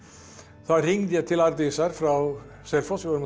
þá hringdi ég til Arndísar frá Selfossi við vorum